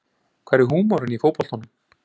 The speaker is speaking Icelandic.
Hvar er húmorinn í fótboltanum